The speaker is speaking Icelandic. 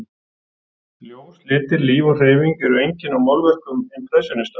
Ljós, litir, líf og hreyfing eru einkenni á málverkum impressjónista.